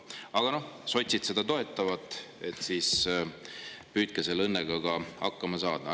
Aga noh, sotsid seda toetavad, püüdke siis selle õnnega hakkama saada.